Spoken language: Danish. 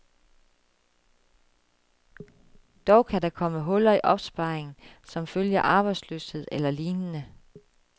Dog kan der komme huller i opsparingen som følge af arbejdsløshed eller lignende.